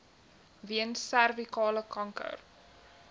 weens servikale kanker